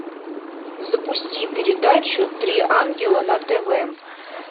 запусти передачу три ангела на тв